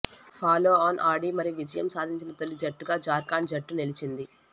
follow on ఆడి మరీ విజయం సాధించిన తొలి జట్టుగా జార్ఖండ్ జట్టు నిలిచింది